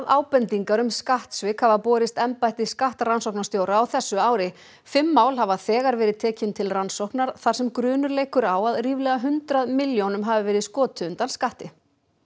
ábendingar um skattsvik hafa borist embætti skattrannsóknarstjóra á þessu ári fimm mál hafa þegar verið tekin til rannsóknar þar sem grunur leikur á að ríflega hundrað milljónum hafi verið skotið undan skatti